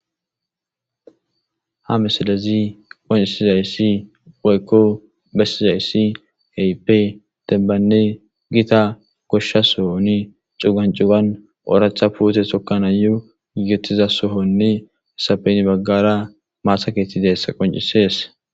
Ha misilez besizays keehippe dembanne Gita gosha sohon cugan cugan oratha puute tokanayo gigetiza sohone hesappe hen bagara mata keeth dizaysa qoncises.